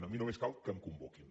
a mi només cal que em convoquin